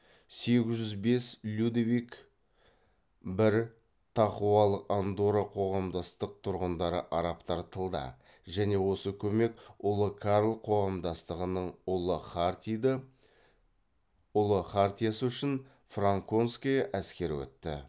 сегіз жүз бес людовик бір тақуалық андорра қоғамдастық тұрғындары арабтар тылда және осы көмек ұлы карл қоғамдастығының ұлы хартиды ұлы хартиясы үшін франконская әскері өтті